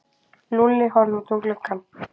Lúlli horfði út um gluggann.